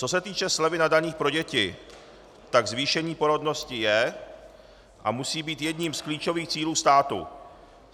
Co se týče slevy na daních pro děti, tak zvýšení porodnosti je a musí být jedním z klíčových cílů státu.